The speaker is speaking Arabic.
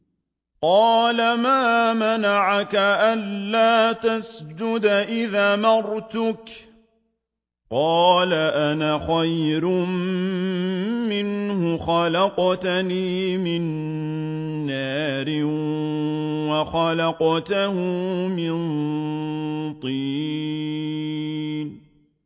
قَالَ مَا مَنَعَكَ أَلَّا تَسْجُدَ إِذْ أَمَرْتُكَ ۖ قَالَ أَنَا خَيْرٌ مِّنْهُ خَلَقْتَنِي مِن نَّارٍ وَخَلَقْتَهُ مِن طِينٍ